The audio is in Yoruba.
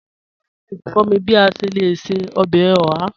Alex n kọ̀ mí bí à ṣè lẹ̀ ṣẹ̀ ọbẹ́ ọ̀hà.